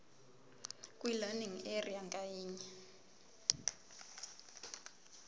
kwilearning area ngayinye